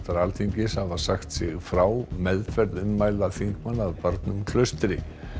Alþingis hafa sagt sig frá meðferð ummæla þingmanna af barnum Klaustri